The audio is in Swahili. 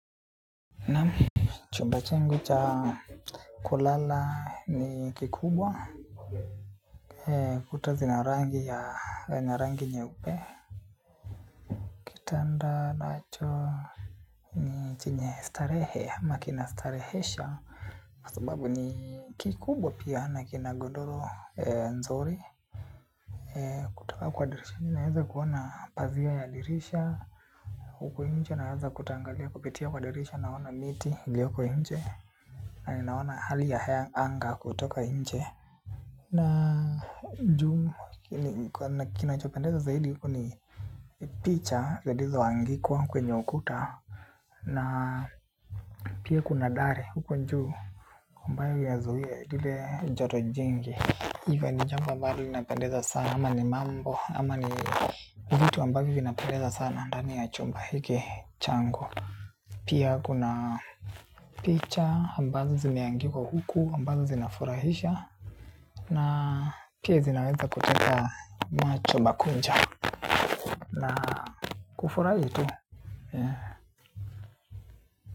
Naam chumba changu cha kulala ni kikubwa. Kuta zina rangi ya na rangi nyeupe. Tenda nacho ni chenye starehe ama kinastarehesha. Sababu ni kikubwa pia na kina gondoro nzuri. Kutoka kwa dirisha mimi naweza kuona pazia ya dirisha. Huko nje naweza kutangalia kupitia kwa dirisha naona miti ilioko nje. Na nina ona hali ya anga kutoka inje. Na mjumu nakina chupendeza zaidi huko ni picha. Ziliizo andikwa kwenye ukuta. Na pia kuna dare huko juu ambayo wiazuhia dile joto jengi. Iwa ni jamba mbani wina pendeza sana. Ama ni mambo ama ni uvitu mbani wina pendeza sana. Andani ya chumba hiki chango pia kuna picha ambazo zimeandikwa huku ambazo zinafurahisha na pia zinaweza kuteka macho makuja na kufurahi tu.